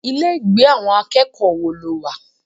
Ilé ìgbé àwọn akẹ́kọ̀ọ́ wo lo wà?